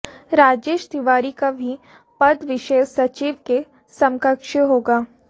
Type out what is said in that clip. राजेश तिवारी का भी पद विशेष सचिव के समकक्ष होगा